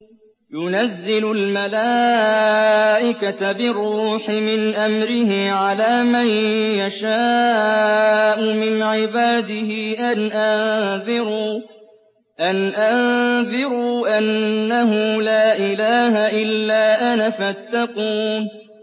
يُنَزِّلُ الْمَلَائِكَةَ بِالرُّوحِ مِنْ أَمْرِهِ عَلَىٰ مَن يَشَاءُ مِنْ عِبَادِهِ أَنْ أَنذِرُوا أَنَّهُ لَا إِلَٰهَ إِلَّا أَنَا فَاتَّقُونِ